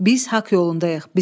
Biz haqq yolundayıq.